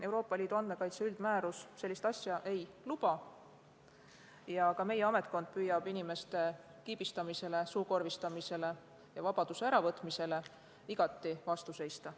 Euroopa Liidu andmekaitse üldmäärus sellist asja ei luba ja ka meie ametkond püüab inimeste kiibistamisele, suukorvistamisele ja vabaduse äravõtmisele igati vastu seista.